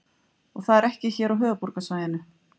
Og það er ekki hér á höfuðborgarsvæðinu?